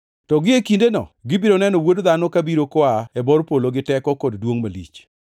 To gie kindeno gibiro neno Wuod Dhano kabiro koa e bor polo gi teko kod duongʼ malich.